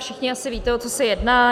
Všichni asi víte, o co se jedná.